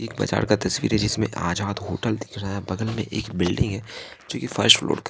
एक बाजार का तस्वीर है जिसमें आजाद होटल दिख रहा है बगल में एक बिल्डिंग है जो ये फर्स्ट फ्लोर --